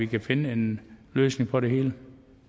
kan finde en løsning på det hele